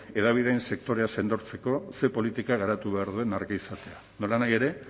hedabideen sektorea sendotzeko ze politika garatu behar den argi izatea nolanahi ere